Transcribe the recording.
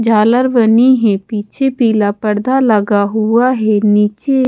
झालर बनी है पीछे पीला पड़दा लगा हुआ हैं नीचे--